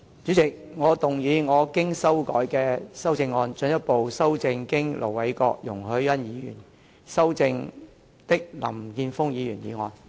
主席，我動議我經修改的修正案，進一步修正經盧偉國議員及容海恩議員修正的林健鋒議員議案。